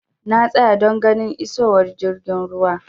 Na tsaya don ganin isowar jirgin ruwan.